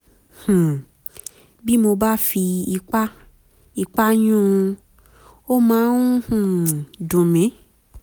um bí mo bá fi ipá ipá yún un ó máa ń um dùn mí